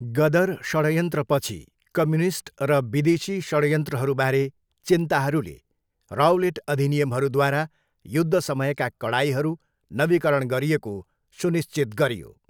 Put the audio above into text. गदर षडयन्त्रपछि कम्युनिस्ट र विदेशी षड्यन्त्रहरूबारे चिन्ताहरूले राउलेट अधिनियमहरूद्वारा युद्ध समयका कडाइहरू नवीकरण गरिएको सुनिश्चित गरियो।